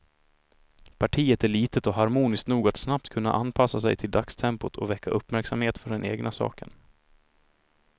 Partiet är litet och harmoniskt nog att snabbt kunna anpassa sig till dagstempot och väcka uppmärksamhet för den egna saken.